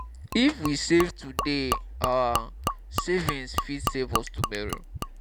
if we save today our saving fit save us tomorrow